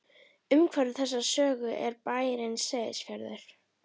Umhverfi þessarar sögu er bærinn Seyðisfjörður.